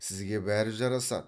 сізге бәрі жарасады